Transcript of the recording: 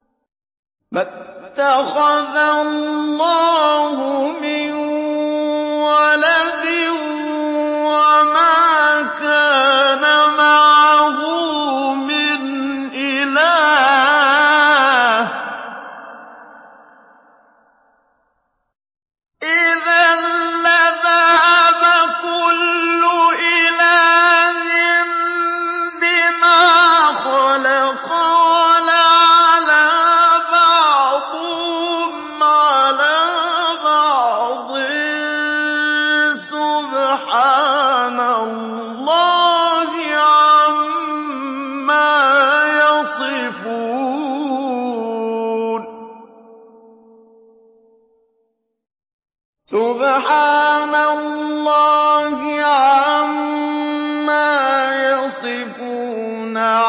مَا اتَّخَذَ اللَّهُ مِن وَلَدٍ وَمَا كَانَ مَعَهُ مِنْ إِلَٰهٍ ۚ إِذًا لَّذَهَبَ كُلُّ إِلَٰهٍ بِمَا خَلَقَ وَلَعَلَا بَعْضُهُمْ عَلَىٰ بَعْضٍ ۚ سُبْحَانَ اللَّهِ عَمَّا يَصِفُونَ